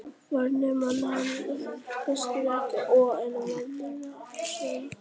Varnarmenn: Ívar Ingimarsson, Pétur Marteinsson og Hermann Hreiðarsson.